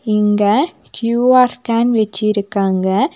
இங்க Q R scan வச்சிருக்காங்க.